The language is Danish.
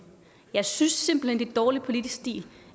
jeg synes simpelt er dårlig politisk stil